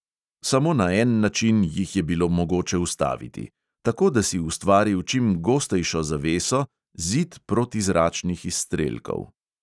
Samo na en način jih je bilo mogoče ustaviti: tako, da si ustvaril čim gostejšo zaveso, zid protizračnih izstrelkov.